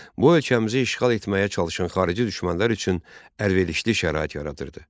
Bu ölkəmizi işğal etməyə çalışan xarici düşmənlər üçün əlverişli şərait yaradırdı.